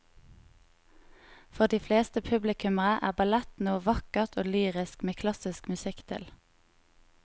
For de fleste publikummere er ballett noe vakkert og lyrisk med klassisk musikk til.